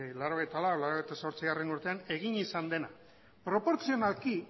lau mila bederatziehun eta laurogeita zortzigarrena urtean egin izan dena proportzionalki